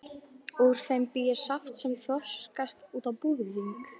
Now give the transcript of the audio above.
Úr þeim bý ég saft sem þroskast út á búðing.